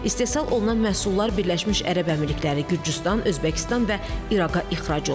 İstehsal olunan məhsullar Birləşmiş Ərəb Əmirlikləri, Gürcüstan, Özbəkistan və İraqa ixrac olunur.